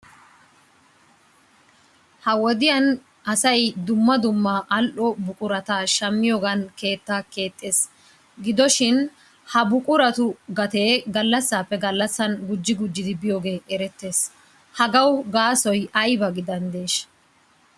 Ha wodiyan asay dumma dumma al"o buqurata shammiyogan keettaa keexxees. Gidoshin ha buquratu gatee gallassaappe gallassan gujji gujjidi biyogee erettees. Hagawu gaasoy ayba gidaneeshsha?